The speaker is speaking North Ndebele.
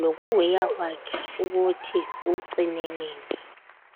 lokuweya kwakhe ukuthi ucine nini.